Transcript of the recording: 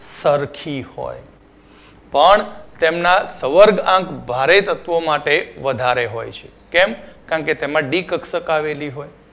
સરખી હોય પણ તેમના સવર્ગઆંક ભારે તત્વો માટે વધારે હોય છે કેમ કે તેમાં ડી કક્ષક આવેલી હોય